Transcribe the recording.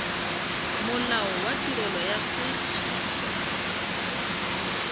molao wa tirelo ya set